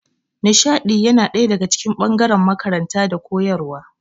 Nishaɗi yana daga cikin ɓangaren makaranta da koyarwa